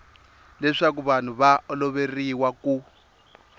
leswaku vanhu va oloveriwa ku